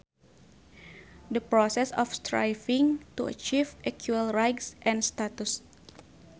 The process of striving to achieve equal rights and status